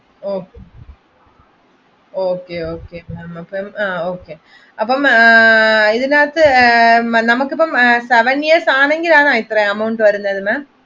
Okay Okay അപ്പൊ ma'am അപ്പൊ ഇതിനകത്ത് seven years ആണെങ്കിലാണോ ഇത്ര amount വരുന്നത്?